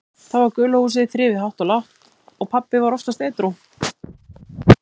Þá var gula húsið þrifið hátt og lágt og pabbi var oftast edrú.